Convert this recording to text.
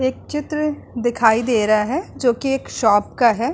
एक चित्र दिखाई दे रहा है जोकि एक शॉप का है।